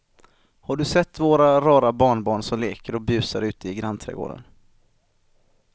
Har du sett våra rara barnbarn som leker och busar ute i grannträdgården!